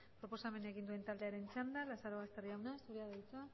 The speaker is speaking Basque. proposamena egin duen taldearen txanda lazarobaster jauna zurea da hitza